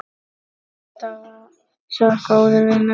Alltaf svo góður við Möggu.